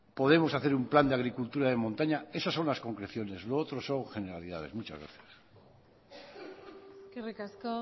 podremos hacer un plan de agricultura de montaña esas son las concreciones lo otro son generalidades muchas gracias eskerrik asko